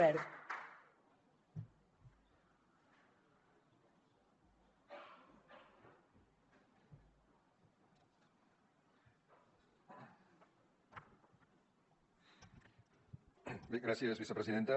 bé gràcies vicepresidenta